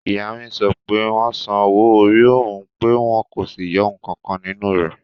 Ìyá mi sọ pé wọ́n san owó-orí òun pé wọ́n kò sì yọ ǹkankan nínú rẹ̀